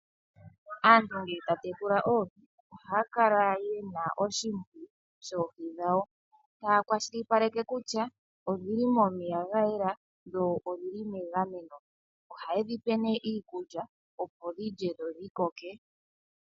Aantu ngee taa tekula oohi ohaa kala yena oshimpiyu shoohi dhawo, taa kwashilipaleke kutya odhili momeya ga yela dho odhili megameno, oha ye dhipe nee iikulya opo odhilye dho odhikoke.